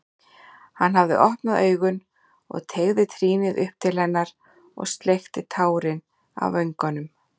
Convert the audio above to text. Hann hafði opnað augun og teygði trýnið upp til hennar og sleikti tárin af vöngunum.